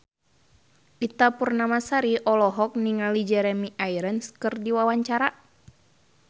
Ita Purnamasari olohok ningali Jeremy Irons keur diwawancara